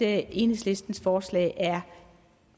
at enhedslistens forslag er